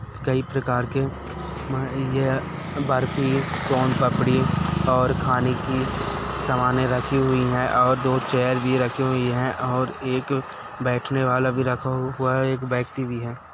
कई प्रकार के बर्फी सोनपापड़ी और खाने की सामाने रखी हुई है और दो चेयर भी रखी हुई है और एक बैठने वाला भी रखा हुआ है एक व्यक्ति भी है।